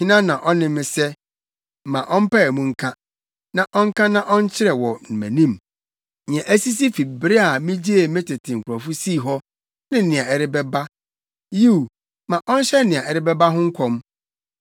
Hena na ɔne me sɛ? Ma ɔmpae mu nka. Ma ɔnka na ɔnkyerɛ wɔ mʼanim nea asisi fi bere a migyee me tete nkurɔfo sii hɔ, ne nea ɛrebɛba. Yiw, ma ɔnhyɛ nea ɛreba ho nkɔm.